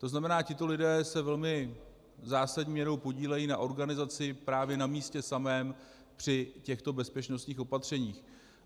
To znamená, tito lidé se velmi zásadní měrou podílejí na organizaci právě na místě samém při těchto bezpečnostních opatřeních.